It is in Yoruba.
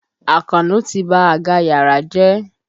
Àkànó ti ba àga yàrá jẹ́.